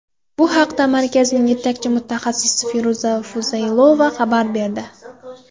Bu haqda markazning yetakchi mutaxassisi Feruza Fuzaylova xabar berdi.